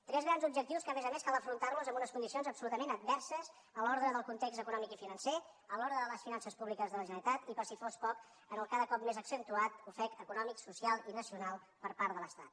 tres grans objectius que a més a més cal afrontar amb unes condicions absolutament adverses en l’ordre del context econòmic i financer en l’ordre de les finances públiques de la generalitat i per si fos poc en el cada cop més accentuat ofec econòmic social i nacional per part de l’estat